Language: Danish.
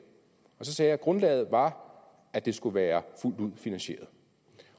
så sagde jeg at grundlaget var at det skulle være fuldt ud finansieret